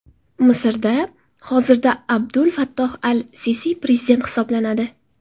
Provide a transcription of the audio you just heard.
Misrda hozirda Abdul Fattoh al-Sisi prezident hisoblanadi.